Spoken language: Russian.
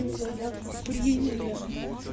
ну заявку приняли